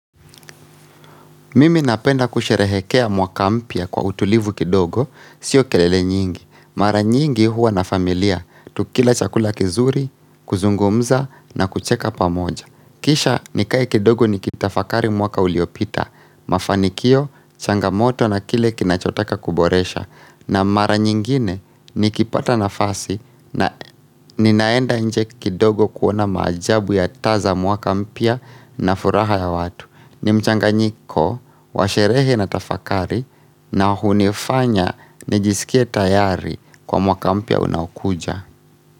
Mimi napenda kusherehekea mwaka mpya kwa utulivu kidogo, sio kelele nyingi. Mara nyingi huwa na familia, tukila chakula kizuri, kuzungumza na kucheka pamoja. Kisha nikae kidogo nikitafakari mwaka uliopita, mafanikio, changamoto na kile kinachotaka kuboresha. Na mara nyingine nikipata nafasi na ninaenda nje kidogo kuona maajabu ya taza mwaka mpya na furaha ya watu. Ni mchanganyiko, wa sherehe na tafakari na hunifanya nijisikie tayari kwa mwaka mpya unaokuja.